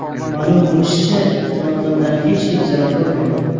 Ma’lum bo‘lishicha, yong‘indan hech kim zarar ko‘rmagan.